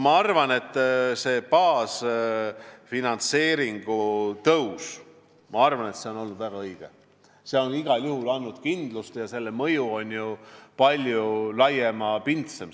Ma arvan, et see baasfinantseeringu tõus on olnud väga õige, see on igal juhul andnud kindlust ja selle mõju on palju laiapindsem.